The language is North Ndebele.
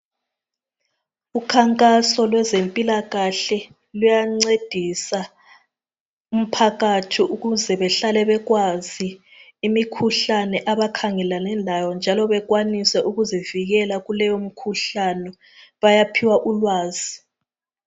Ukhankaso lwezempilakahle luyancedisa umphakathi ukuze behlale bekwazi imikhuhlane abakhangelane lawo njalo bekwanise ukuzivikele kuleyo mkhuhlane bayaphiwa ulwazi.